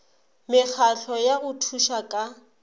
mekgatlo ya go thuša ka